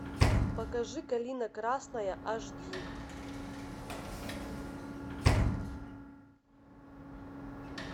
покажи калина красная аш ди